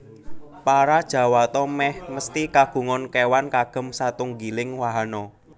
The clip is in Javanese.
Para Jawata mèh mesthi kagungan kéwan kagem satunggiling wahana